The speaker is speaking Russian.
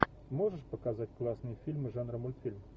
можешь показать классные фильмы жанра мультфильм